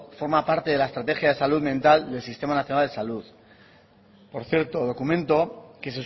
forma parte de la estrategia de salud mental del sistema nacional de salud por cierto documento que